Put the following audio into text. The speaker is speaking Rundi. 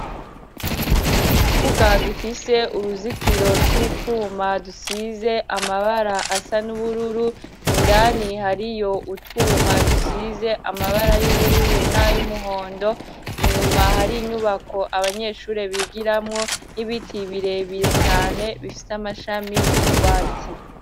ikibuga gifise uruzitiro tw'utwuma dusize amabara asa n'ubururu, indani hariyo utwuma dusize amabara y'ubururu nay'umuhondo inyuma hari inyubako abanyeshuri bigiramwo n'ibiti birebire cane bifise amashami y'ugwatsi.